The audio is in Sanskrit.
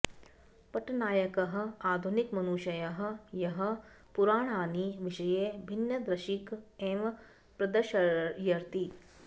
पट्नायकः आधुनिक मनुषयः यः पुराणानि विषये भिन्न दृशीक् एव प्रदर्शयति